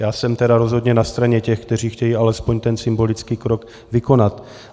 Já jsem tedy rozhodně na straně těch, kteří chtějí alespoň ten symbolický krok vykonat.